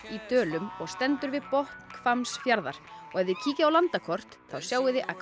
í Dölum og stendur við botn Hvammsfjarðar og ef þið kíkið á landakort þá sjáið þið að